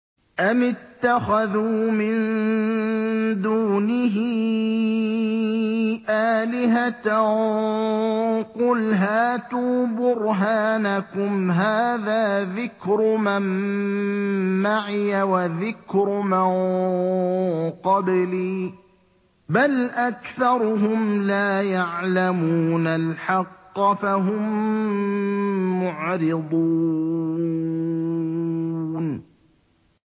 أَمِ اتَّخَذُوا مِن دُونِهِ آلِهَةً ۖ قُلْ هَاتُوا بُرْهَانَكُمْ ۖ هَٰذَا ذِكْرُ مَن مَّعِيَ وَذِكْرُ مَن قَبْلِي ۗ بَلْ أَكْثَرُهُمْ لَا يَعْلَمُونَ الْحَقَّ ۖ فَهُم مُّعْرِضُونَ